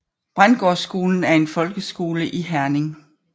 Brændgårdskolen er en folkeskole i Herning